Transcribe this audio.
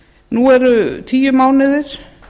nú eru tíu mánuðir